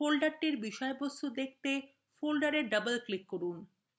ফোল্ডারটির বিষয়বস্তু দেখতে folder double click করুন